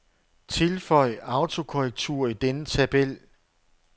Tilføj autokorrektur i denne tabel.